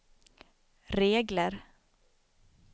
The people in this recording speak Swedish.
regler